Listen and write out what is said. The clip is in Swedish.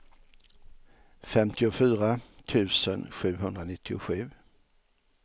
femtiofyra tusen sjuhundranittiosju